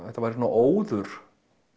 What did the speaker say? þetta væri svona óður